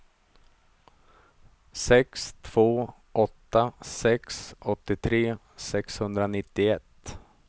sex två åtta sex åttiotre sexhundranittioett